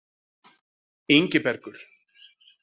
Ingibergur